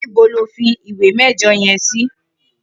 Nibó ló fi ìwé mẹjọ yèn si?